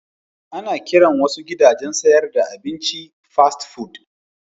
Ana kiran wasu gidajen sayar da abinci Fast food.